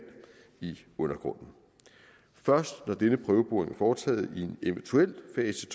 i undergrunden først når denne prøveboring er foretaget i en eventuel fase